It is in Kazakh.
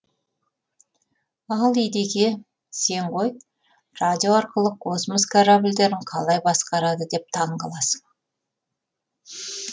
ал едеке сен ғой радио арқылы космос корабльдерін қалай басқарады деп таңғаласың